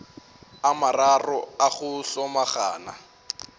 a mararo a go hlomagana